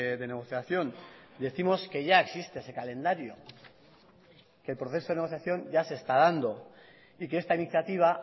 de negociación decimos que ya existe ese calendario que el proceso de negociación ya se está dando y que esta iniciativa